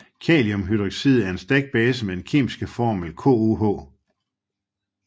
Kaliumhydroxid er en stærk base med den kemiske formel KOH